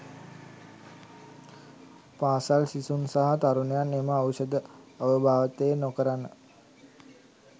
පාසල් සිසුන් සහ තරුණයන් එම ඖෂධ අවභාවිතය නොකරන